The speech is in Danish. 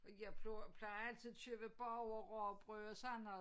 Og jeg plejer altid at købe bagerrugbrød og sådan noget